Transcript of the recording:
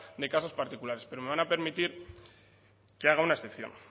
de casos particulares pero me van a permitir que haga una excepción